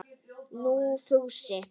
Nei, Fúsi.